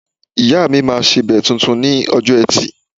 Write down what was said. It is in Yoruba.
Ìyáà mi máa sebẹ̀ tuntun ni ọjọ́ Ẹtì